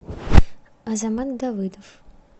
азамат давыдов